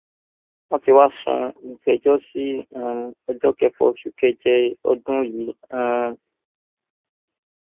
wọn ti wáá sún ìgbẹjọ sí um ọjọ kẹfà oṣù keje ọdún yìí um